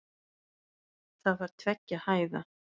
Það var tveggja hæða.